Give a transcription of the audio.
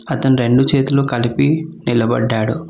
అతను రెండు చేతులు కలిపి నిలబడ్డాడు.